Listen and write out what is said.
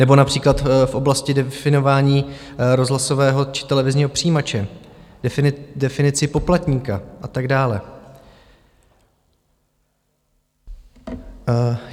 Nebo například v oblasti definování rozhlasového či televizního přijímače, definici poplatníka a tak dále.